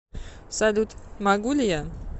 салют могу ли я